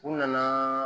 U nana